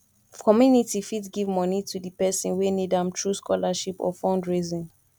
community fit give money to di person wey need am through scholarship or fundraising